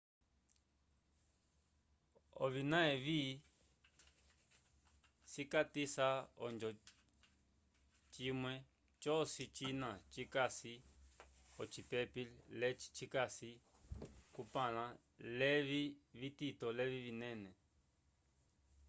ovina evi cikatisa ojo cimule joci jina jikasi ocipepi leci jicasi cumpanla levi vtito levi vinene